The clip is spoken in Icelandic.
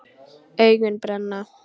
Augun brenna.